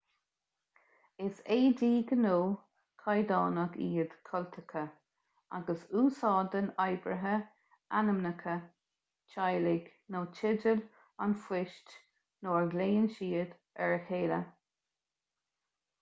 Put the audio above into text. is éadaí gnó caighdeánach iad cultacha agus úsáideann oibrithe ainmneacha teaghlaigh nó teideal an phoist nuair a ghlaonn siad ar a chéile